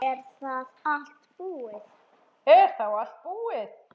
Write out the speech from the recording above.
Er þá allt búið?